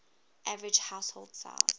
average household size